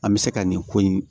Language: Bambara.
An bɛ se ka nin ko in